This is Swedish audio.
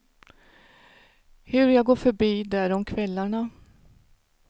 Hur jag går förbi där om kvällarna.